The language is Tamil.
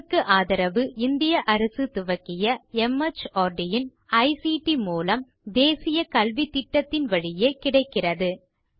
இதற்கு ஆதரவு இந்திய அரசு துவக்கிய மார்ட் இன் ஐசிடி மூலம் தேசிய கல்வித்திட்டத்தின் வழியே கிடைக்கிறது